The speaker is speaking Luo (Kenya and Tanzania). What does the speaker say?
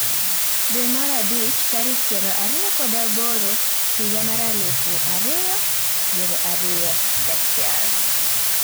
Dwe mar abich, tarik piero ariyo kod aboro, higa mar alufu ariyo piero ariyo gachiel